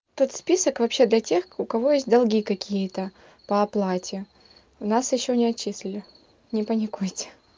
тот список вообще для тех у кого есть долги какие-то по оплате нас ещё не отчислили не паникуйте